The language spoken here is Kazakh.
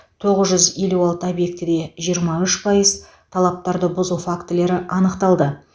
тоғыз жүз елу алты объектіде жиырма үш пайыз талаптарды бұзу фактілері анықталды